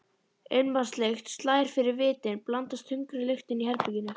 Ilmvatnslykt slær fyrir vitin, blandast þungri lyktinni í herberginu.